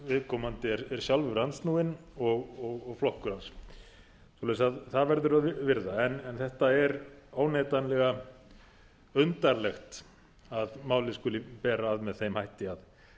viðkomandi er sjálfur andsnúinn og flokkur hans svoleiðis að það verður að virða en þetta er óneitanlega undarlegt að málið skuli bera að með þeim hætti